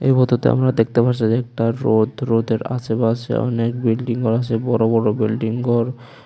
ছবিতিতে আমরা দেখতে পারসি একতা রোদ রোদের আশেপাশে অনেক বিল্ডিংও আসে বড় বড় বিল্ডিং গর ।